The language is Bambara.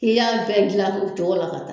K'i y'a bɛɛ dilan o cogo la ka